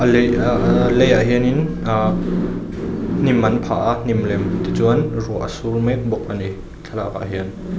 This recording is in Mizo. lei ah ah leiah hianin ahh hnim an phah a hnim lem tichuan ruah a sur mek bawk ani thlalak ah hian.